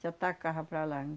Se atacava para lá.